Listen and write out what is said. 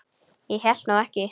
Ég hélt nú ekki.